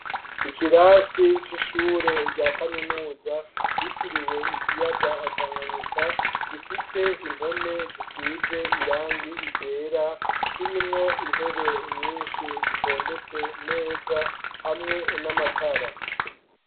Ikirasi c'ishure rya kaminuza ryitiriwe ikiyaga Tanganyika gifise impome zisize irangi iryera kirimwo intebe nyinshi zitondetse neza hamwe n'amatara.